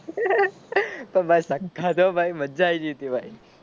તો ભાઈ સખત હો ભાઈ મજા આયી જઈ તી ભાઈ